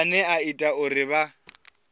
ane a ita uri vha